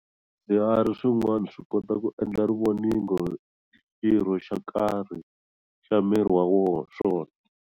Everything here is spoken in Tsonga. Swiharhi swin'wana swikota ku endla rivoningo hi xirho xa karhi xa miri wa swona.